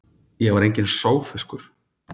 Ég var enginn sogfiskur.